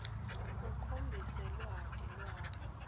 ukhombise lwati lwakho